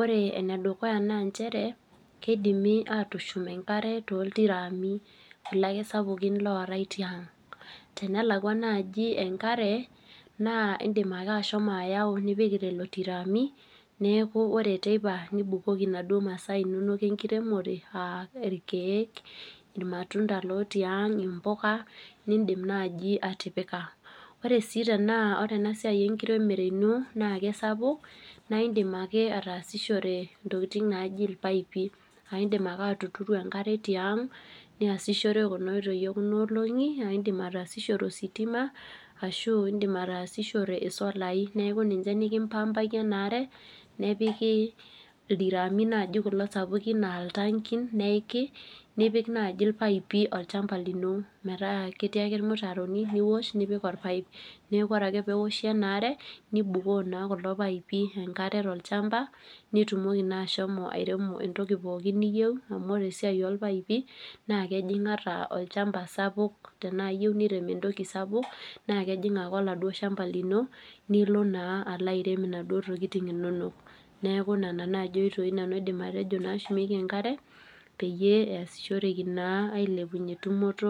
,ore enedukuya naa nchere keidimi atushum enkare toltiraami kulo ake sapukin lootae tiang. Tenelakwa naaji enkare na indim ake ashomo ayau nipik lelo tiraami, neeku ore teipa nibukoki naduo masaa inonok enkiremore aa ikeek ,irmatunda lotii ang ,imbuka nindim naaji atipika. Ore sii tena ore enasiai ino enkiremore tena kisapuk naa indim ake ataasishore ntokiting naaji ilpaipi ,indim ake atuturu enkare tiang ,niyasishore Kuna oitoi ekuna olongi ,aa indim ataasishore ositima ashu indim ataasishore solai ,neeku ninche nikimpaapaki enare ,nepikita ildiraami sapukin naaji altankiin neiki ,nipik naaji irpaipi olchampa lino metaa ketii ake irmutaroni ,niwosh nipik orpaep. Neeku ore ake pee iwosh enaare nibukoo naa kuldo paipi enkare olchampa ,nitumoki naa ashomo airemo entoki pookin niyieu ,amu ore eisia orpaepi naa kejing ata atua olchampa sapuk ,tenaa iyieu niremo entoki sapuk naa kajing ake atua oladuo shampa lino nilo naa alo airem naduo tokiting inonok. Neeku nena oitoi naaji nanu aidim ashomo atejo natumieki enkare pee epuoi ailepunyie tumoto enkare.